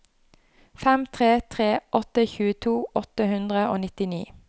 fem tre tre åtte tjueto åtte hundre og nittini